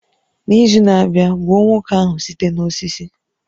N'izu na-abịa, gbuo nwoke ahụ site n'osisi